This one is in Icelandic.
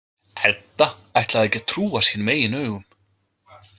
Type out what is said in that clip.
Edda ætlaði ekki að trúa sínum eigin augum.